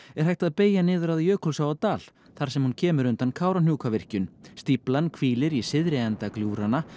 er hægt að beygja niður að Jökulsá á Dal þar sem hún kemur undan Kárahnjúkavirkjun stíflan hvílir í syðri enda gljúfranna